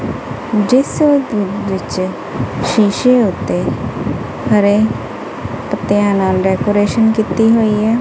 ਜਿਸ ਦੇ ਵਿੱਚ ਸ਼ੀਸ਼ੇ ਉੱਤੇ ਹਰੇ ਪੱਤਿਆਂ ਨਾਲ ਡੈਕੋਰੇਸ਼ਨ ਕੀਤੀ ਹੋਈ ਹੈ।